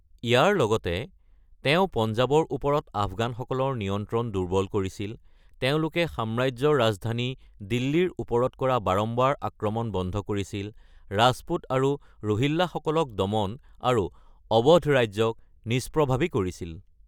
ইয়াৰ লগতে, তেওঁ পঞ্জাৱৰ ওপৰত আফগানসকলৰ নিয়ন্ত্ৰণ দুৰ্বল কৰিছিল, তেওঁলোকে সাম্ৰাজ্যৰ ৰাজধানী দিল্লীৰ ওপৰত কৰা বাৰম্বাৰ আক্ৰমণ বন্ধ কৰিছিল, ৰাজপুত আৰু ৰোহিল্লাসকলক দমন আৰু অৱধ ৰাজ্যক নিষ্প্ৰভাৱী কৰিছিল।